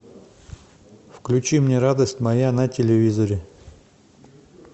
включи мне радость моя на телевизоре